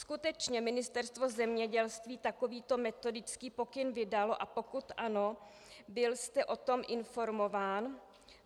Skutečně Ministerstvo zemědělství takovýto metodický pokyn vydalo, a pokud ano, byl jste o tom informován?